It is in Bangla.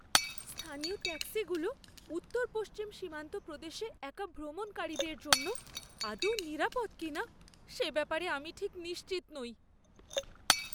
স্থানীয় ট্যাক্সিগুলো উত্তর পশ্চিম সীমান্ত প্রদেশে একা ভ্রমণকারীদের জন্য আদৌ নিরাপদ কিনা সে ব্যাপারে আমি ঠিক নিশ্চিত নই।